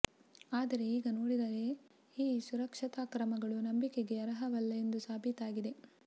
ಆದರೆ ಈಗ ನೋಡಿದರೆ ಈ ಸುರಕ್ಷತಾ ಕ್ರಮಗಳು ನಂಬಿಕೆಗೆ ಅರ್ಹವಲ್ಲ ಎಂಬುದು ಸಾಬೀತಾಗಿದೆ